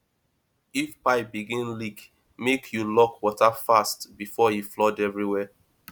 if pipe begin leak make you lock water fast before e flood everywhere